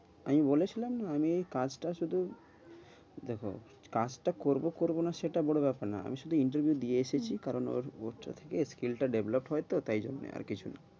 আমি বলে ছিলাম না, আমি ওই কাজটা শুধু দেখো কাজটা করব করব না সেটা বড়ো ব্যাপার নয়। আমি শুধু interview দিয়ে এসেছি। কারণ ওটা থেকে skill টা develop হয় তো তাই জন্যে আর কিছু না,